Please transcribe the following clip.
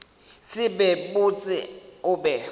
se be botse o be